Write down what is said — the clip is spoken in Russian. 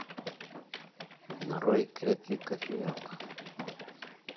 нарой крепкий кофеек